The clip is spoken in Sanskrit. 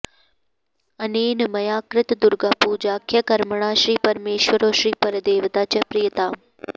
अनेन मया कृत दुर्गापूजाख्य कर्मणा श्री परमेश्वरो श्री परदेवता च प्रीयताम्